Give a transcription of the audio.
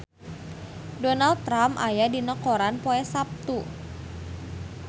Donald Trump aya dina koran poe Saptu